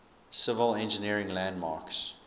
civil engineering landmarks